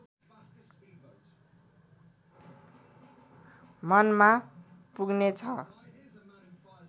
मनमा पुग्ने छ